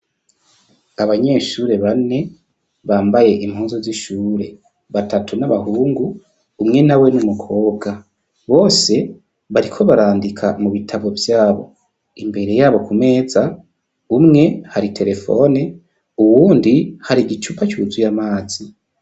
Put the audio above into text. Abanyeshuri bane bambaye impunzo z'ishure batatu n'abahungu umwe na we n'umukobwa bose bariko barandika mu bitabo vyabo imbere yabo ku meza umwe hari telefone uwundi hari igicupa c'uzuye amazi.